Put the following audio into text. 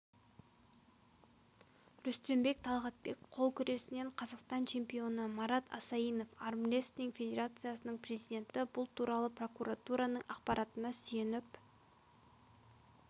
рүстембек талғатбек қол күресінен қазақстан чемпионы марат асаинов армрестлинг федерациясының президенті бұл туралы прокуратураның ақпаратына сүйеніп